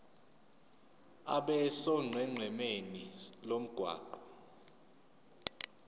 abe sonqenqemeni lomgwaqo